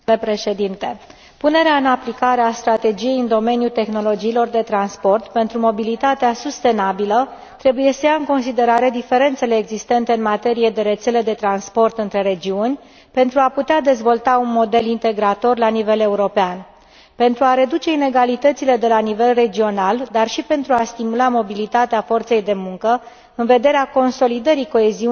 Punerea în aplicare a strategiei în domeniul tehnologiilor de transport pentru mobilitatea sustenabilă trebuie să ia în considerare diferențele existente în materie de rețele de transport între regiuni pentru a putea dezvolta un model integrator la nivel European, pentru a reduce inegalitățile de la nivel regional, dar și pentru a stimula mobilitatea forței de muncă în vederea consolidării coeziunii teritoriale.